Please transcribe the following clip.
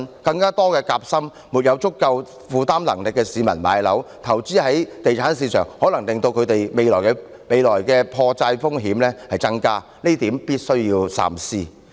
讓更多夾心階層、沒有足夠負擔能力的市民置業，投資在地產市場，亦可能令他們未來的破產風險增加，這點必須三思。